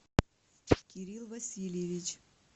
кирилл васильевич